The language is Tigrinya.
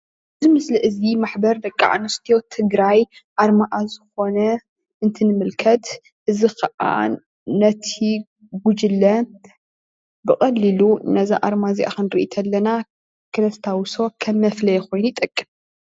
እዚ ምስሊ እዚ ማሕበር ደቂ ኣንስትዮ ትግራይ ኣርማኣ ዝኾነ እንትንምልከት እዚ ኽዓ ነቲ ጉጅለ ብቐሊሉ ነዛ ኣርማ እዚኣ ክንርኢ ተለና ክነስታዉሶ ከም መፍለዪ ኮይኑ ይጠቅም።